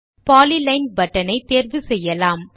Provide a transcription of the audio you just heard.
polyline button ஐ தேர்வு செய்யலாம்